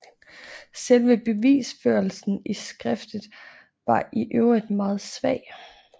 Selve bevisførelsen i skriftet var i øvrigt meget svag